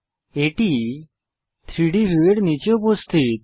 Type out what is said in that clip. এটি 3ডি ভিউয়ের নীচে উপস্থিত